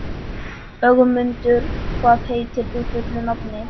Ögmundur, hvað heitir þú fullu nafni?